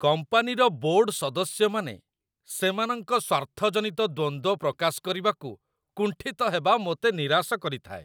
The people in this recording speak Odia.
କମ୍ପାନୀର ବୋର୍ଡ ସଦସ୍ୟମାନେ ସେମାନଙ୍କ ସ୍ୱାର୍ଥଜନିତ ଦ୍ୱନ୍ଦ୍ୱ ପ୍ରକାଶ କରିବାକୁ କୁଣ୍ଠିତ ହେବା ମୋତେ ନିରାଶ କରିଥାଏ।